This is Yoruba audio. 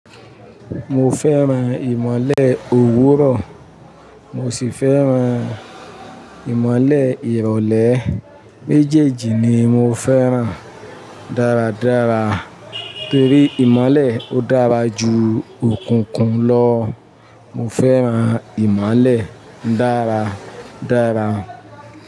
Mo fẹ́ran-an ìmọ́lẹ̀ òwúrọ̀, mo sì fẹ́ran-an ìmọ́lẹ̀ ìrọ̀lẹ́. Méjèèjì ni mo fẹ́ran dáradára torí ìmọ́lẹ̀ ó dára juu òkùnkùn lọ. Mo fẹ́ran-an ìmọ́lẹ̀ dára dára.